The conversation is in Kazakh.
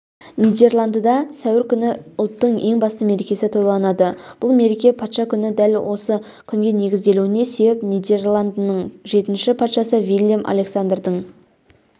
нидерландыда сәуір күні ұлттың ең басты мерекесі тойланады бұл мереке патша күні дәл осы күнге негізделуіне себеп нидерландының жетінші патшасы виллем-александрдың